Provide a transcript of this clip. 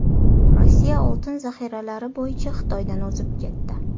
Rossiya oltin zaxiralari bo‘yicha Xitoydan o‘zib ketdi.